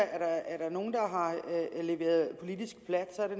er nogen der har leveret politisk plat så er det